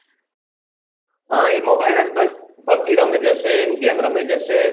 હા એ mobile માં જ બસ pubg રમે જશે ગેમ રમે જશે